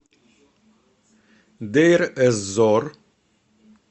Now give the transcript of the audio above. дейр эз зор